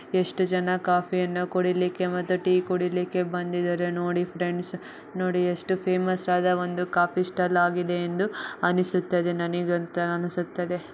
ಎಷ್ಟು ಜನ ಕಾಫಿ ಅಣ್ಣ ಕಾಫಿ ಕೂಡ್ಲಿಕ್ಕೆ ಮತ್ತೆ ಟೀ ಕುಡಿಲಿಕ್ಕೆ ಬಂದಿದಾರೆ ನೋಡಿ ಫ್ರೆಂಡ್ಸ್ ನೋಡಿ ಎಷ್ಟು ಫೇಮಸ್ ಅದ ಒಂದು ಕಾಫಿ ಸ್ಟಾಲ್ ಆಗಿದೆ ಎಂದು ಅನಿಸುತ್ತದೆ ನನಿಗಂತೂ ಅನಿಸುತ್ತದೆ.